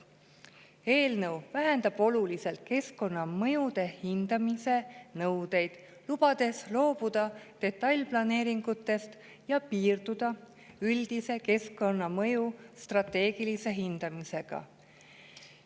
Eelnõu vähendab oluliselt keskkonnamõjude hindamise nõudeid, lubades loobuda detailplaneeringutest ja piirduda üldise keskkonnamõju strateegilise hindamisega.